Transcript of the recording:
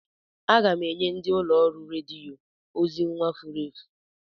Aga m enye ndi ụlọ ọrụ rediyo ozi nwa furu efu.